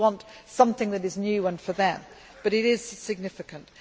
People want something that is new and for them, but it is significant.